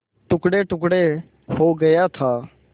टुकड़ेटुकड़े हो गया था